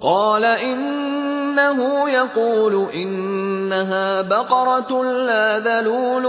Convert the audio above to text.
قَالَ إِنَّهُ يَقُولُ إِنَّهَا بَقَرَةٌ لَّا ذَلُولٌ